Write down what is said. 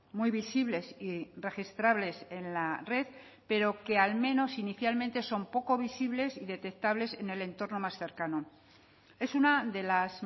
muy visibles y registrables en la red pero que al menos inicialmente son poco visibles y detectables en el entorno más cercano es una de las